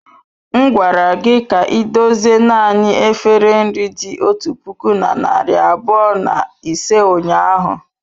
M gwara gị ka idozie naanị efere nri dị otu puku na narị abụọ na ise ụnyahụ.